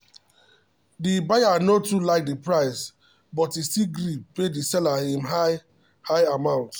the buyer no too like the price but e still gree pay the seller him high-high amount.